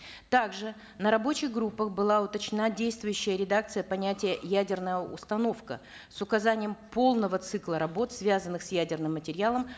также на рабочих группах была уточнена действующая редакция понятия ядерная установка с указанием полного цикла работ связанных с ядерным материалом